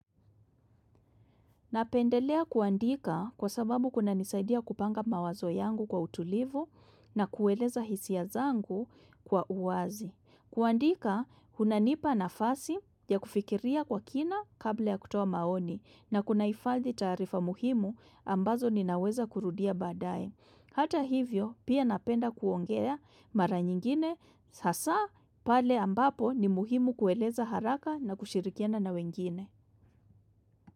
Napendelea kuandika kwa sababu kunanisaidia kupanga mawazo yangu kwa utulivu na kueleza hisia zangu kwa uwazi. Kuandika, kunanipa nafasi ya kufikiria kwa kina kabla ya kutoa maoni na kunaifadhi taarifa muhimu ambazo ninaweza kurudia baadae. Hata hivyo, pia napenda kuongea mara nyingine hasa pale ambapo ni muhimu kueleza haraka na kushirikiana na wengine.